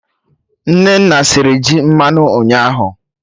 Nnanna sịrị ji mmanụ ụnyaahụ